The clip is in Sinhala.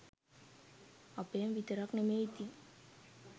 අපේම විතරක් නෙමේ ඉතිං